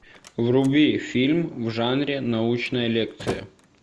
вруби фильм в жанре научная лекция